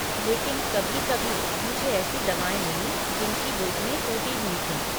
लेकिन, कभी कभी मुझे ऐसी दवाएँ मिलीं जिनकी बोतलें टूटी हुई थीं।